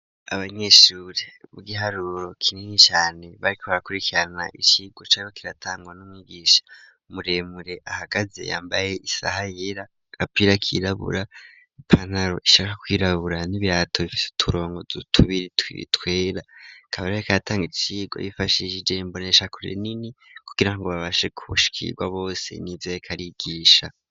Abanyeshuri bigiharuro kinini cane bariko barakurikirana icirwa cabo kiratangwa n'umwigisha muremure ahagaze yambaye isaha yera n'agapira kirabura ipantaro ishaka kwirabura n'ibirato bifise uturongo tubiri twera akaba rero ariko aratanga icirwa yifashishe imbonesha kure nini kugirango babashe kushikirwa bose nivyo ariko arigisha.